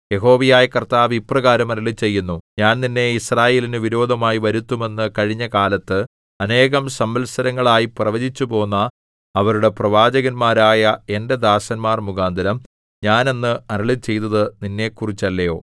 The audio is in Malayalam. യഹോവയായ കർത്താവ് ഇപ്രകാരം അരുളിച്ചെയ്യുന്നു ഞാൻ നിന്നെ യിസ്രായേലിനു വിരോധമായി വരുത്തും എന്ന് കഴിഞ്ഞകാലത്ത് അനേകം സംവത്സരങ്ങളായി പ്രവചിച്ചുപോന്ന അവരുടെ പ്രവാചകന്മാരായ എന്റെ ദാസന്മാർ മുഖാന്തരം ഞാൻ അന്ന് അരുളിച്ചെയ്തത് നിന്നെക്കുറിച്ചല്ലയോ